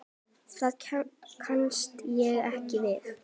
Það kannast ég ekki við.